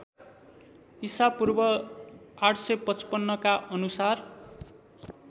ईपू ८५५ का अनुसार